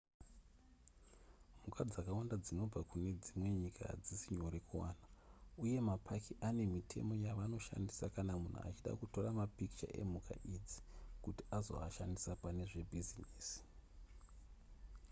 mhuka dzakawanda dzinobva kune dzimwe nyika hadzisi nyore kuwana uye mapaki ane mitemo yavanoshandisa kana munhu achida kutora mapikicha emhuka idzi kuti azoashandisa pane zvebhizinesi